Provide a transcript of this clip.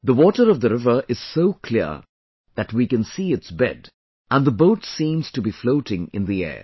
The water of the river is so clear that we can see its bed and the boat seems to be floating in the air